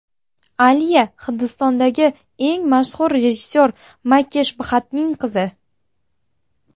Alia Hindistondagi eng mashhur rejissyor Makesh Bxattning qizi.